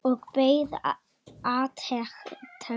Og beið átekta.